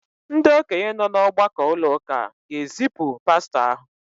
ndị okenye nọ n’ọgbakọ ụlọ ụka ga-ezipụ pastọ ahụ